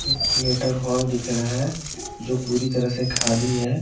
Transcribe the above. एक theatre hall दिख रहा है जो पूरी तरह से ख़ाली हैं।